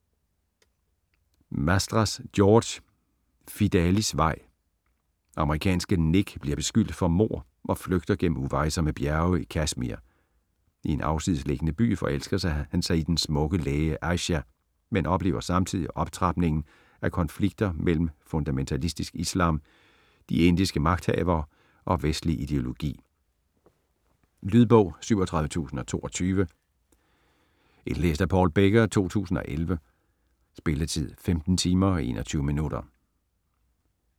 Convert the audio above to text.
Mastras, George: Fidalis vej Amerikanske Nick bliver beskyldt for mord og flygter gennem uvejsomme bjerge i Kashmir. I en afsidesliggende by forelsker han sig i den smukke læge Aysha, men oplever samtidig optrapningen af konflikter mellem fundamentalistisk islam, de indiske magthavere og vestlig ideologi. Lydbog 37022 Indlæst af Paul Becker, 2011. Spilletid: 15 timer, 21 minutter.